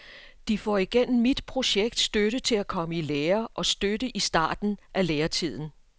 De får igennem mit projekt støtte til at komme i lære og støtte i starten af læretiden.